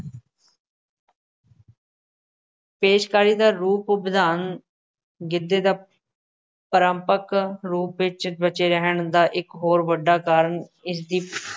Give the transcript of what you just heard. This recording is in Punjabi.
ਪੇਸ਼ਕਾਰੀ ਦਾ ਰੂਪ ਰੰਗ ਗਿੱਧੇ ਦਾ ਪਰਾਂਪੱਕ ਰੂਪ ਵਿੱਚ ਬਚੇ ਰਹਿਣ ਦਾ ਇਕ ਹੋਰ ਵੱਡਾ ਕਾਰਨ ਇਸਦੀ